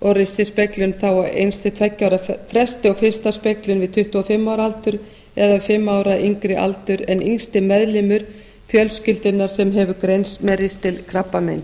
og ristilspeglun þá á eins til tveggja ára fresti og fyrsta speglun við tuttugu og fimm ára aldur eða fimm ára yngri aldur en yngsti meðlimur fjölskyldunnar sem hefur greinst með ristilkrabbamein